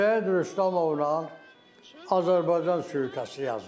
Şəyid Rüstəmovla Azərbaycan süitəsini yazmışam.